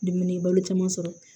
Dumuni balo caman sɔrɔ